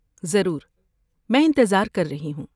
ضرور، میں انتظار کر رہی ہوں۔